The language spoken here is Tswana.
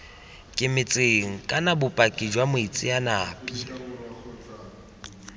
kemetseng kana bopaki jwa moitseanape